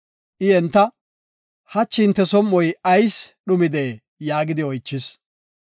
I entana, “Hachi hinte som7oy ayis dhumidee?” yaagidi oychis.